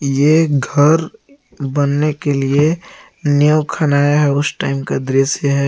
ये घर बनने के लिए नींव खानाया है उस टाइम का दृश्य है।